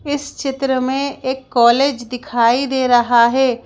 इस चित्र में एक कॉलेज दिखाई दे रहा है।